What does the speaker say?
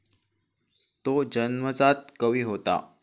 तो जन्मजात कवी होता.